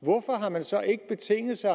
hvorfor har man så ikke betinget sig